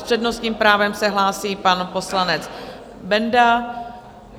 S přednostním právem se hlásí pan poslanec Benda.